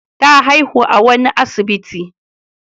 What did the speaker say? Ta haihu a wani asibiti.